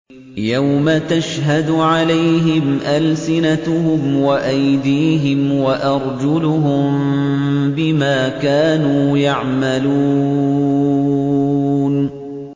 يَوْمَ تَشْهَدُ عَلَيْهِمْ أَلْسِنَتُهُمْ وَأَيْدِيهِمْ وَأَرْجُلُهُم بِمَا كَانُوا يَعْمَلُونَ